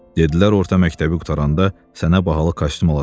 Dedilər orta məktəbi qurtaranda sənə bahalı kostyum alacağıq.